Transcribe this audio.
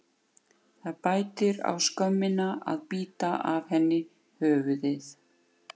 Það bætir á skömmina að bíta af henni höfuðið.